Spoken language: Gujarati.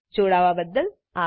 જોડાવા બદ્દલ આભાર